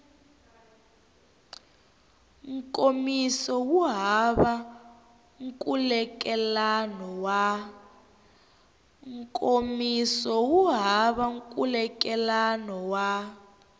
nkomiso wu hava nkhulukelano wa